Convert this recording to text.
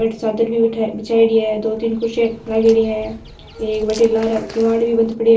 बठ चादर भी बिछाएंडी है दो तीन कुर्सियां लागोड़ी है एक बठन लार किवाड़ भी बंद पड़ो है।